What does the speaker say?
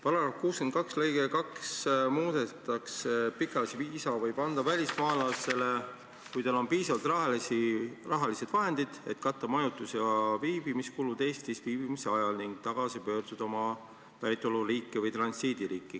§ 62 lõige 2 sõnastatakse järgmiselt: "Pikaajalise viisa võib anda välismaalasele, kui tal on piisavad rahalised vahendid, et katta majutus- ja viibimiskulud Eestis viibimise ajal ning tagasi pöörduda oma päritoluriiki või transiidiriiki.